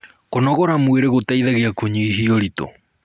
kũnogora mwĩrĩ gũteithagia kunyihia uritu